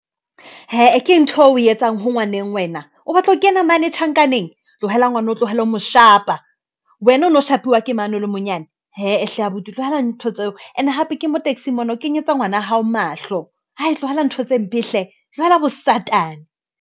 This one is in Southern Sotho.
Hee e ke ntho eo o e etsang ho ngwaneng wena o batla ho kena mane tjhankaneng, tlohela ngwana, o tlohele ho mo shapa, wena o no shapiwa ke mane o le monyane. Hee hle abuti tlohela ntho tseo ene hape ke mo taxi-ng mona o kenyetsa ngwana hao mahlo ha e tlohela ntho tse mpe hle. Tlohela bosatane.